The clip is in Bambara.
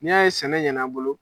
N'i y'a ye sɛnɛ ɲɛn'an bolo.